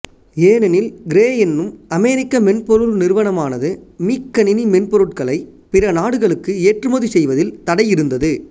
ஏனெனில் கிரே எனும் அமெரிக்க மென்பொருள் நிறுவனமானது மீக்கணினி மென்பொருட்களை பிற நாடுகளுக்கு ஏற்றுமதி செய்வதில் தடை இருந்தது